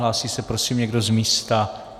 Hlásí se prosím někdo z místa?